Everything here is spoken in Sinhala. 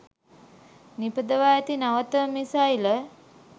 නිපදවා ඇති නවතම මිසයිල